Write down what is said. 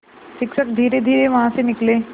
शिक्षक धीरेधीरे वहाँ से निकले